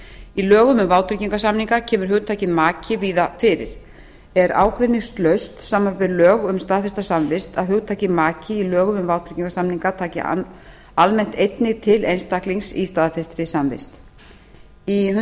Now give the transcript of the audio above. í lögum um vátryggingarsamninga kemur hugtakið maki víða fyrir er ágreiningslaust samanber lög um staðfesta samvist að hugtakið maki í lögum um vátryggingarsamninga taki almennt einnig til einstaklings í staðfestri samþykkt í